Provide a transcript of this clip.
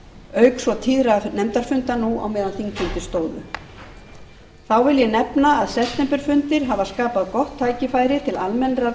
auk svo tíðra nefndarfunda nú á meðan þingfundir stóðu þá vil ég nefna að septemberfundir hafa skapað gott tækifæri til almennrar